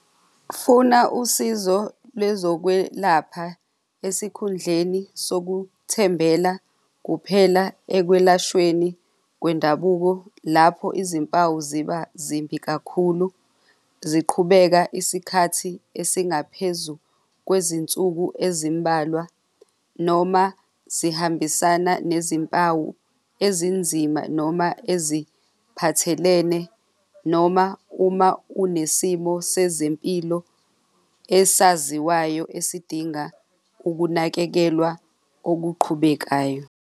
Funa usizo lwezokwelapha esikhundleni sokuthembela kuphela ekwelashweni kwendabuko lapho izimpawu ziba zimbi kakhulu ziqhubeka isikhathi esingaphezu kwezinsuku ezimbalwa noma zihambisana nezimpawu ezinzima noma eziphathelene noma uma unesimo sezempilo esaziwayo esidinga ukunakekelwa okuqhubekayo.